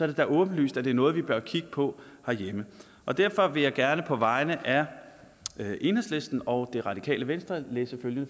det da åbenlyst at det er noget vi bør kigge på herhjemme derfor vil jeg gerne på vegne af enhedslisten og det radikale venstre læse følgende